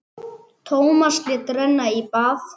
Tómas lét renna í bað.